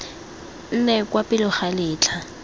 nne kwa pele ga letlha